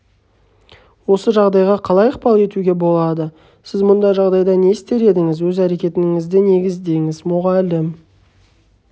осы жағдайға қалай ықпал етуге болады сіз бұндай жағдайда не істер едіңіз өз әрекетіңізді негіздеңіз мұғалім